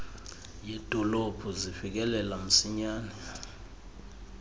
yedolophu zifikelela msinyane